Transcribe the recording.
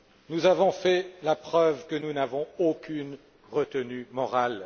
Nous avons fait la preuve que nous n'avons aucune retenue morale.